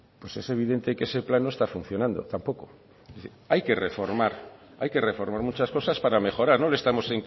pues es evidente que ese plan no está funcionando tampoco es decir hay que reformar hay que reformar muchas cosas para mejorar no le estamos